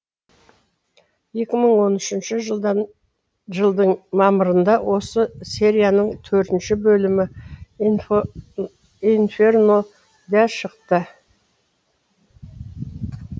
екі мың он үшінші жылдың мамырында осы серияның төртінші бөлімі инферно да шықты